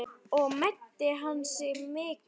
Og meiddi hann sig mikið?